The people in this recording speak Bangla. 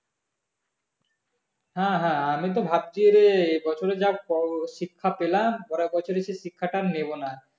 হ্যাঁ হ্যাঁ আমি তো ভাবছি এরে এবছরে যা শিক্ষা পেলাম পরের বছরে সেই শিক্ষাটা আরো নেবো না